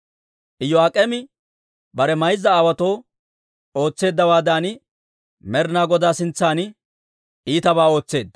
Iyo'aak'eemi bare mayza aawotuu ootseeddawaadan, Med'ina Godaa sintsan iitabaa ootseedda.